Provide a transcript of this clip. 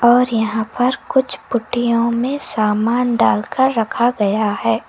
और यहां पर कुछ पुड़ियों में सामान डालकर रखा गया है।